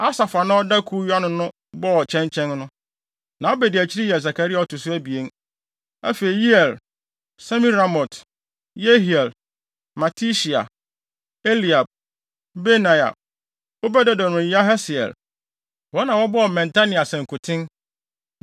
Asaf a na ɔda kuw yi ano no bɔɔ kyɛnkyɛn no. Na nʼabediakyirifo yɛ Sakaria a ɔto so abien, afei Yeiel, Semiramot, Yehiel, Matitia, Eliab, Benaia, Obed-Edom ne Yahasiel. Wɔn na wɔbɔɔ mmɛnta ne asankuten.